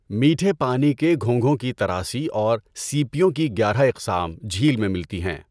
میٹھے پانی کے گھونگھوں کی تراسی اور سیپیوں کی گیارہ اقسام جھیل میں ملتی ہیں۔